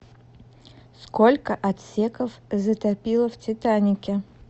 сколько отсеков затопило в титанике